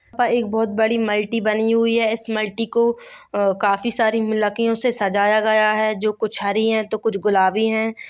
यहाँ पर एक बहुत बड़ी मल्टी बनी हुई हैं इस मल्टी को काफी सारे मिलाकियों से सजाया गया हैंजो कुछ हरी हैं तो कुछ गुलाबी हैं।